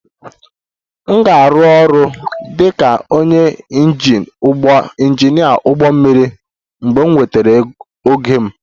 M ga-arụ ọrụ dị ka onye injinia ụgbọ mmiri mgbe m nwetara ogo m